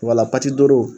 Wala